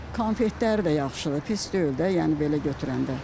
Konfetlər də yaxşıdır, pis deyil də, yəni belə götürəndə.